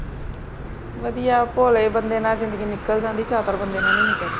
ਵਧੀਆ ਭੋਲੇ ਬੰਦੇ ਨਾਲ ਜ਼ਿੰਦਗੀ ਨਿਕਲ ਜਾਂਦੀ, ਚਤੁਰ ਬੰਦੇ ਨਾਲ ਨਹੀਂ ਨਿਕਲਦੀ।